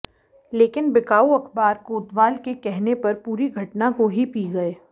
लेकिन बिकाऊ अखबार कोतवाल के कहने पर पूरी घटना को ही पी गए